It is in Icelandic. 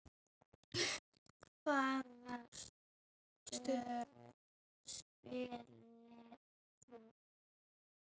Hvaða stöðu spilaðir þú?